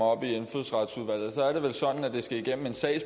og stemte